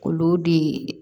Olu de